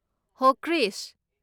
ꯍꯣ ꯀ꯭ꯔꯤꯁ!